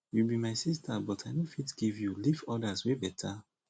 you be my sister but i no fit give you leave others wey beta